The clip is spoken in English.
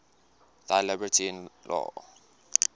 thy liberty in law